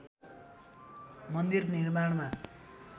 मन्दिर निर्माणमा